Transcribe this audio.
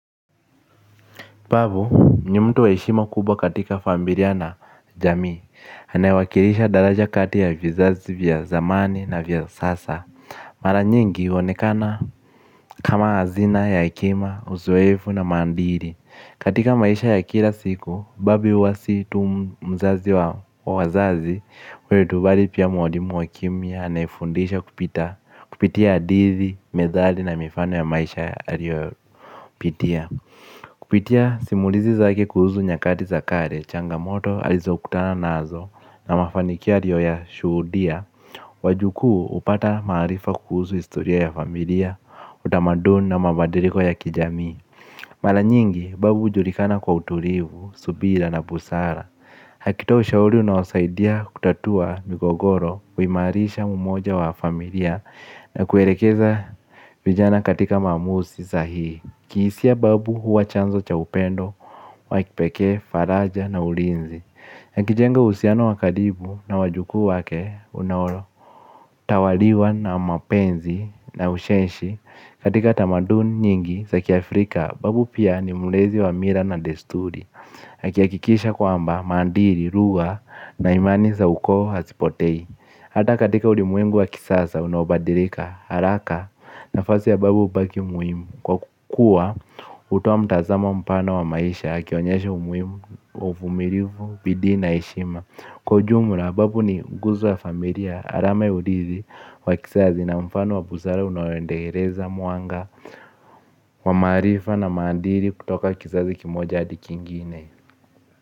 Tupavu, ni mtu wa heshima kubwa katika familia na jamii anayewakilisha daraja kati ya vizazi vya zamani na vya sasa. Mara nyingi, huonekana kama hazina ya hekima, uzoefu na mandhiri. Katika maisha ya kila siku kupitia simulizi zake kuhusu nyakati za kale, changamoto alizo kutana nazo na mafanikio aliyo ya shuhudia. Wajukuu hupata maarifa kuhusu historia ya familia, utamadun na mabadiliko ya kijami. Mara nyingi babu hujulikana kwa utulivu, subira na busara akitoa ushauri unawasaidia kutatua migogoro, huimarisha umoja wa familia na kuelekeza vijana katika mamusi sahihi. Kihisia babu huwa chanzo cha upendo, wa kipekee, faraja na ulinzi yakijenga uhusiano wa karibu na wajukuu wake, unaworo. Tawaliwa na mapenzi na ushenshi. Katika tamaduni nyingi, za kiAfrika, babu pia ni mulezi wa mila na desturi akihakikisha kwamba, maadili, lugha na imani za ukoo hazipotei. Hata katika ulimwengu wa kisasa unaobadilika haraka nafasi ya babu hubaki muhimu. Kwa kukuwa, hutoa mtazamo mpana wa maisha akionyesha umuhimu, uvumilivu, bidii na heshima. Kwa ujumla babu ni nguzo ya familia, alama ya udizi, wakisazi na mfano wa buzara unawendeereza muanga, wamarifa na mandiri kutoka kisazi kimoja adikingine.